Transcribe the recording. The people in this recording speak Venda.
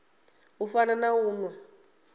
u fana na u nwa